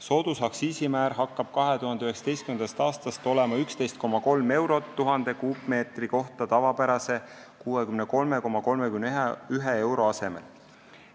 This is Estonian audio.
Soodusaktsiisimäär hakkab 2019. aastast olema 11,3 eurot 1000 kuupmeetri kohta tavapärase 63,31 euro asemel.